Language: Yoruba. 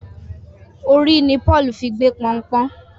Orí ní Paul fí gbé Pọnpọ́n